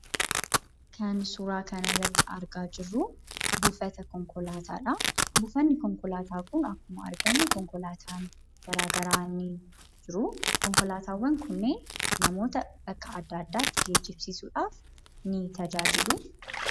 Kan suuraa kanarratti argaa jirru buufata konkolaataadha. Buufanni konkolaataa kun akkuma argamu konkolaataan garaagaraa ni jiru. Konkolaataawwan kunneen namoota bakka adda addaatti geejjibsiisuudhaaf ni tajaajilu.